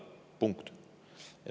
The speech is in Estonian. Punkt.